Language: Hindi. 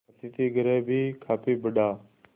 अतिथिगृह भी काफी बड़ा